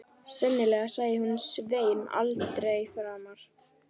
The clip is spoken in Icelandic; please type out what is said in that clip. Sennilega sæi hún Svein aldrei framar.